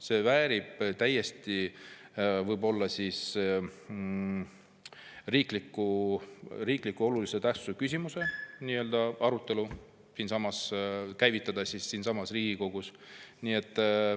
See väärib täiesti olulise tähtsusega riikliku küsimuse arutelu siinsamas Riigikogus.